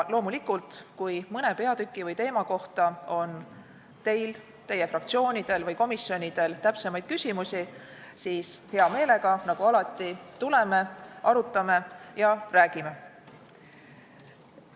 Loomulikult, kui mõne peatüki või teema kohta on teil, teie fraktsioonidel või komisjonidel täpsemaid küsimusi, siis hea meelega, nagu alati, tuleme, arutame ja räägime.